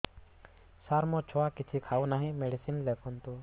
ସାର ମୋ ଛୁଆ କିଛି ଖାଉ ନାହିଁ ମେଡିସିନ ଲେଖନ୍ତୁ